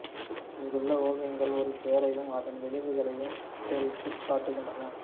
இங்குள்ள ஓவியங்கள் ஒரு போரையும் அதன் விளைவுகளையும் சித்தரித்துக் காட்டுகின்றன